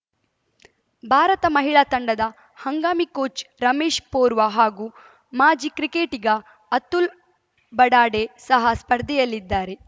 ಭಾರತ ಮಹಿಳಾ ತಂಡದ ಹಂಗಾಮಿ ಕೋಚ್‌ ರಮೇಶ್‌ ಪೊರ್ವಾ ಹಾಗೂ ಮಾಜಿ ಕ್ರಿಕೆಟಿಗ ಅತುಲ್‌ ಬಡಾಡೆ ಸಹ ಸ್ಪರ್ಧೆಯಲ್ಲಿದ್ದಾರೆ